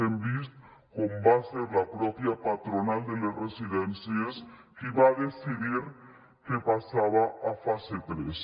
hem vist com va ser la mateixa patronal de les residències qui va decidir que passava a fase tres